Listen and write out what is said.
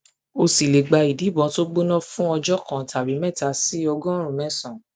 ó sì lè gba ìdìbòn tó gbóná fún ọjọ fún ọjọ kan tàbí mẹta sí ọgọrùnún mésànán